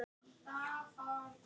Maggi sá illa á miðann.